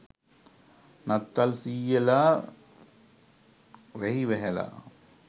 නත්තල් සීයලා වැහි වැහැලා.